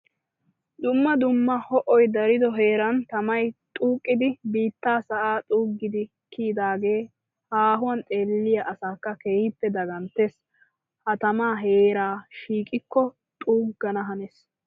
Dumma dumma ho'oy darido heeran tamay xuuqqiddi biitta sa'a xuugiddi kiyyidagee haahuwa xeelliya asaakka keehippe daganttes. Ha tama heera shiiqqikko xuugana hanees.